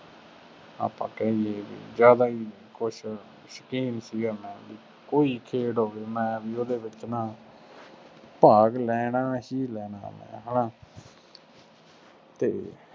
ਆਪਾ ਕਹਿ ਦੇਈਏ, ਜ਼ਿਆਦਾ ਹੀ ਕੁੱਛ ਸ਼ੌਕੀਨ ਸੀਗਾ ਮੈਂ, ਕੋਈ ਖੇਡ ਹੋਵੇ ਮੈਂ ਬਈ ਉਹਦੇ ਵਿੱਚ ਨਾ, ਭਾਗ ਲੈਣਾ ਹੀ ਲੈਣਾ ਮੈਂ, ਹੈ ਨਾ, ਅਤੇ